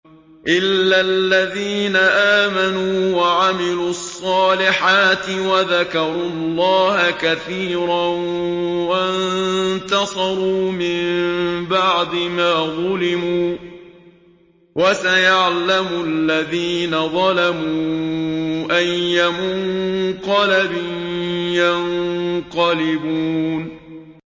إِلَّا الَّذِينَ آمَنُوا وَعَمِلُوا الصَّالِحَاتِ وَذَكَرُوا اللَّهَ كَثِيرًا وَانتَصَرُوا مِن بَعْدِ مَا ظُلِمُوا ۗ وَسَيَعْلَمُ الَّذِينَ ظَلَمُوا أَيَّ مُنقَلَبٍ يَنقَلِبُونَ